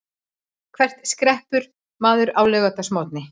Hvert skreppur maður á laugardagsmorgni?